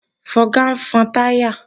Fọga ń fọn táyà